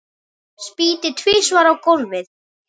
Spýti tvisvar á gólfið.